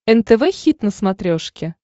нтв хит на смотрешке